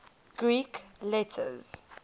greek letters